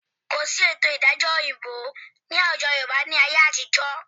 Kò sí ètò ìdájọ́ òyìnbó ní àwùjọ Yorùbá ni ayé àtijọ́